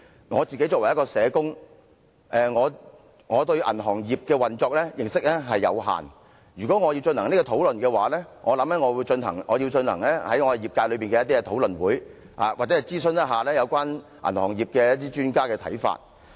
我作為一名社工，對銀行業的運作認識有限，如果要進行這項討論，我想我要進行業界內的討論會，又或諮詢銀行業一些專家的看法。